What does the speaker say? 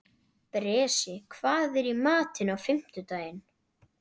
Bresi, hvað er í matinn á fimmtudaginn?